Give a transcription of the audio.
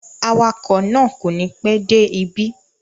Awakọ̀ náà kò ní pẹ́ dé ibí